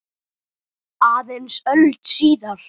Aðeins öld síðar.